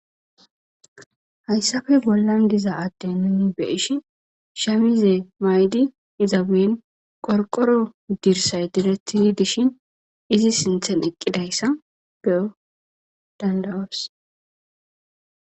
Hayssafe bollan diza adde nun beyishi shamize maydi iza buyen qorqoro dirsay diretti dishin izi sinthen eqqidayssa beyo dandawars.